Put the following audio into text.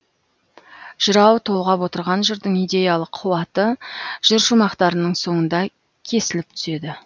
жырау толғап отырған жырдың идеялық қуаты жыр шумақтарының соңында кесіліп түседі